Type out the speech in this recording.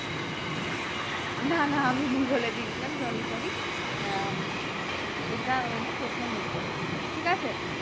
না না আমি ভুল বলে দিয়েছিলাম sorry sorry আহ এটা উনি প্রথমই করেছিলেন ঠিক আছে